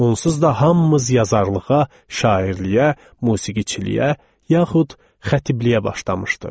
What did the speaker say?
Onsuz da hamımız yazarlığa, şairliyə, musiqiçiliyə, yaxud xətibliyə başlamışdıq.